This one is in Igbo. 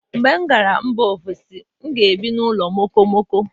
mgbe m gara mba ofesi, m ga-ebi n'ụlọ okomoko